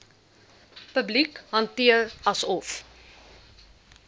publiek hanteer asof